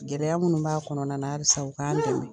Gɛlɛya minnu b'a kɔnɔna la, alisa u k'an dɛmɛ